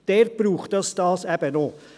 Dort braucht es dies eben auch.